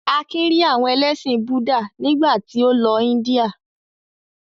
Akin rí àwọn ẹlẹ́sìn Búdà nígbà tí ó lọ Ińdíà.